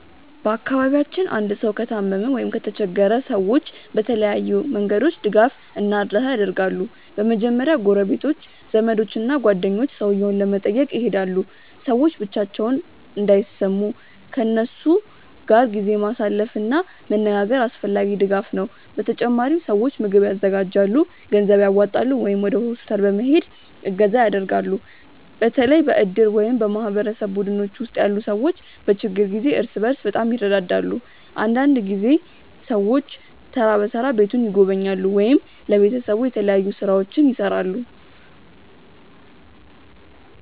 በአካባቢያችን አንድ ሰው ከታመመ ወይም ከተቸገረ ሰዎች በተለያዩ መንገዶች ድጋፍ እና እርዳታ ያደርጋሉ። በመጀመሪያ ጎረቤቶች፣ ዘመዶች እና ጓደኞች ሰውየውን ለመጠየቅ ይሄዳሉ። ሰዎች ብቻቸውን እንዳይሰሙ ከእነሱ ጋር ጊዜ ማሳለፍ እና መነጋገር አስፈላጊ ድጋፍ ነው። በተጨማሪም ሰዎች ምግብ ያዘጋጃሉ፣ ገንዘብ ያዋጣሉ ወይም ወደ ሆስፒታል ለመሄድ እገዛ ያደርጋሉ። በተለይ በእድር ወይም በማህበረሰብ ቡድኖች ውስጥ ያሉ ሰዎች በችግር ጊዜ እርስ በርስ በጣም ይረዳዳሉ። አንዳንድ ጊዜ ሰዎች ተራ በተራ ቤቱን ይጎበኛሉ ወይም ለቤተሰቡ የተለያዩ ሥራዎችን ይሠራሉ።